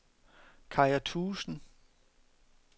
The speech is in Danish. Kaja Thuesen